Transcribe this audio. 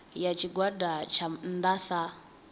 ya tshigwada tsha nnda sa